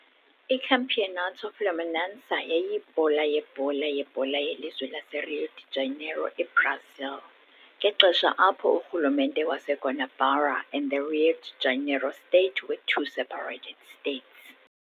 ICampeonato Fluminense yayiyibhola yebhola yebhola yelizwe laseRio de Janeiro, eBrazil, ngexesha apho urhulumente waseGuanabara and the Rio de Janeiro state were two separated states.